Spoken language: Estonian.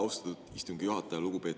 Austatud istungi juhataja!